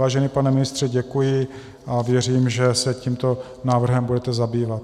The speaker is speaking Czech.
Vážený pane ministře, děkuji a věřím, že se tímto návrhem budete zabývat.